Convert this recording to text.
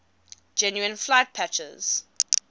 genuine flight patches